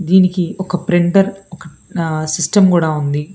దీనికి ఒక ప్రింటర్ ఒక సిస్టమ్ కూడా ఉంది.